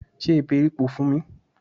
Se èbèripò fún mi!